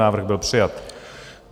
Návrh byl přijat.